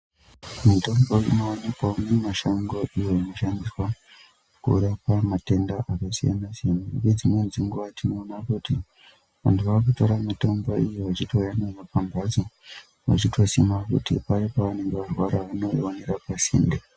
Mitombo inowanikwawo mumashongo iyo inoshandiswa kurapa matenda akasiyana siyana ngedzimweni dzenguwa tinoona kuti vantu vakutora mitombo iyo vachitouya nayo pambotso vachitosima kuti paye pavanenge varwara unoiwanira pasinde.